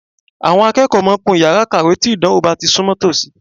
Àwọn akẹ́kọ̀ọ́ máa ń kún yàrá ìkàwé tí ìdánwò bá ti súnmọ́ tòsí